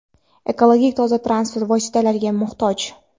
ekologik toza transport vositalariga muhtoj.